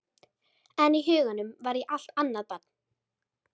En í huganum var ég allt annað barn.